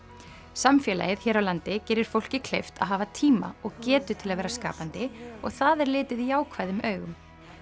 samfélagið hér á landi gerir fólki kleift að hafa tíma og getu til að vera skapandi og það er litið jákvæðum augum